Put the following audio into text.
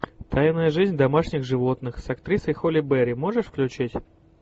тайная жизнь домашних животных с актрисой холли берри можешь включить